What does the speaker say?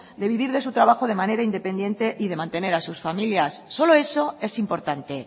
de vivir de su trabajo de manera independiente y de mantener a sus familias solo eso es importante